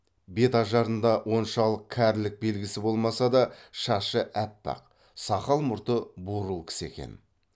бет ажарында оншалық кәрілік белгісі болмаса да шашы аппақ сақал мұрты бурыл кісі екен